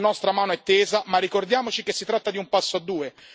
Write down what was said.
La nostra mano è tesa, ma ricordiamoci che si tratta di un passo a due.